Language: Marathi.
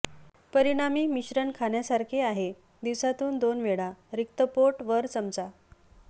परिणामी मिश्रण खाण्यासारखे आहे दिवसातून दोन वेळा रिक्त पोट वर चमचा